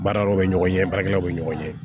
Baara yɔrɔ bɛ ɲɔgɔn ɲɛ baarakɛlaw bɛ ɲɔgɔn ye